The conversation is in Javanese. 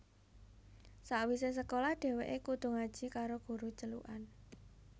Sawise sekolah dheweke kudu ngaji karo guru celukan